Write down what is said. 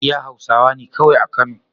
iya hausawane kawai a kano